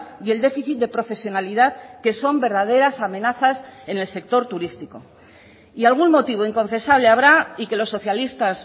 y el déficit de profesionalidad que son verdaderas amenazas en el sector turístico y algún motivo inconfesable habrá y que los socialistas